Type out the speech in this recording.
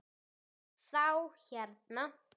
Þá hérna.